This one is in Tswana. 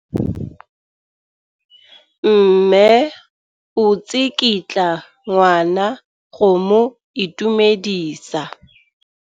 Mme o tsikitla ngwana go mo itumedisa.